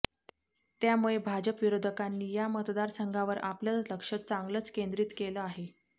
त्यामूळे भाजप विरोधकांनी या मतदारसंघावर आपलं लक्ष चांगलंच केंद्रीत केलं आहे